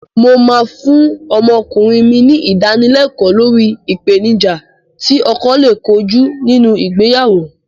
Mó máa fún ọmọkùnrin mi ní Ìdánilẹ́kọ̀ọ́ lórí ìpèníjà tí ọkọ lè kojú nínú ìgbéyàwó